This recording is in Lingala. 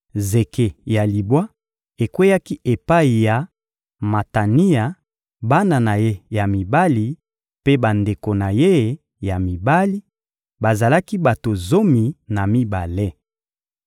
Zeke ya libwa ekweyaki epai ya Matania, bana na ye ya mibali mpe bandeko na ye ya mibali: bazalaki bato zomi na mibale.